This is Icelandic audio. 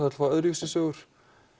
öðruvísi sögur